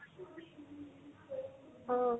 অহ